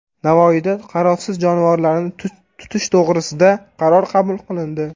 Navoiyda qarovsiz jonivorlarni tutish to‘g‘risida qaror qabul qilindi.